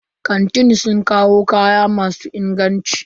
Kantin sun kawo kaya masu inganci.